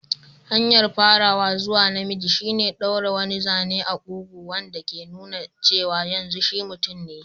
Hanyar farawa zuwa namiji shine ɗaure wani zane a kugu, wanda ke nuna cewa yanzu shi mutum ne.